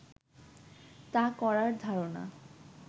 তা করার ধারণা